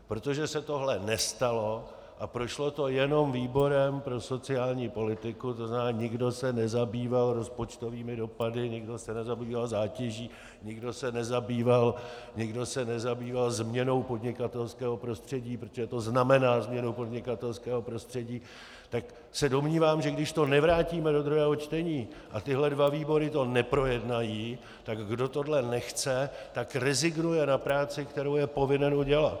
Protože se tohle nestalo a prošlo to jenom výborem pro sociální politiku, to znamená, nikdo se nezabýval rozpočtovými dopady, nikdo se nezabýval zátěží, nikdo se nezabýval změnou podnikatelského prostředí, protože to znamená změnu podnikatelského prostředí, tak se domnívám, že když to nevrátíme do druhého čtení a tyhle dva výbory to neprojednají, tak kdo tohle nechce, tak rezignuje na práci, kterou je povinen udělat.